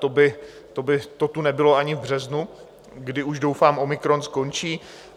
To by to tu nebylo ani v březnu, kdy už doufám omikron skončí.